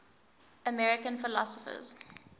american philosophers